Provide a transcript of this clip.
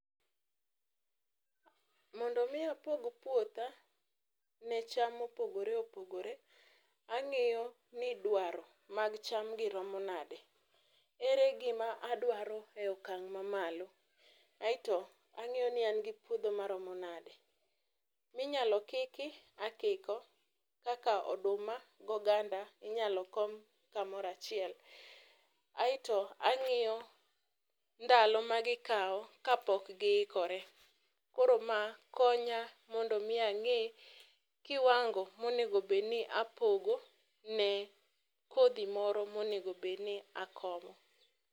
Mondo mi apog puotha ne cham ma opogore opogore angiyo nidwaro mag cham gi romo nade, ere gima adwaro e okang mamalo aito angiyo ni an gi puodho maromo nade. Minyalo kiki akiko kaka oduma gi oganda inyalo kom kamoro achiel, aito angiyo ndalo ma gikaw kapok giikore, koro ma konya mondo mi ange kiwango monego obed ni apogo ne kodhi moro monego bed ni akomo